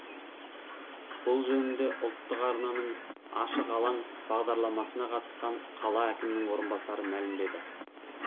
бұл жөнінде ұлттық арнаның ашық алаң бағдарламасына қатысқан қала әкімінің орынбасары мәлімдеді